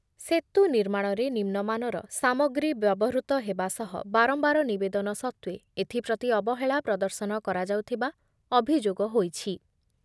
ସେତୁ ନିର୍ମାଣରେ ନିମ୍ନମାନର ସାମଗ୍ରୀ ବ୍ୟବହୃତ ହେବା ସହ ବାରମ୍ବାର ନିବେଦନ ସତ୍ତ୍ବେ ଏଥିପ୍ରତି ଅବହେଳା ପ୍ରଦର୍ଶନ କରାଯାଉଥିବା ଅଭିଯୋଗ ହୋଇଛି ।